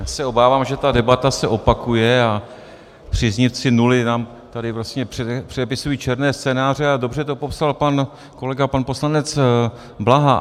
Já se obávám, že ta debata se opakuje a příznivci nuly nám tady vlastně přepisují černé scénáře, a dobře to popsal pan kolega pan poslanec Blaha.